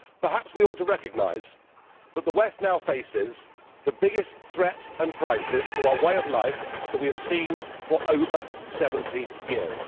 Perhaps we ought to recognise that the West now faces the biggest threat and crisis to our way of life that we have seen for over 70 years.